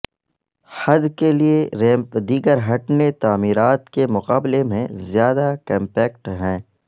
حد کے لئے ریمپ دیگر ہٹنے تعمیرات کے مقابلے میں زیادہ کمپیکٹ ہیں